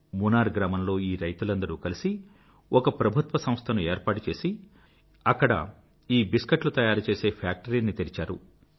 మునార్ గ్రామంలో ఈ రైతులందరూ కలిసి ఒక ప్రభుత్వ సంస్థను ఏర్పాటుచేసి అక్కడ ఈ బిస్కెట్లు తయారు చేసే ఫ్యాక్టరీని తెరిచారు